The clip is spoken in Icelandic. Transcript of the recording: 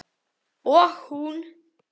Og hún.